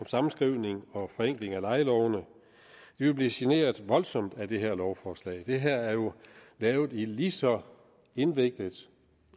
sammenskrivning og forenkling af lejelovene vil blive generet voldsomt af det her lovforslag det her er jo lavet lige så indviklet